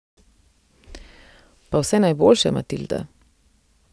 Pa vse najboljše, Matilda.